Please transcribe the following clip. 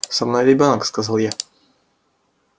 со мной ребёнок сказал я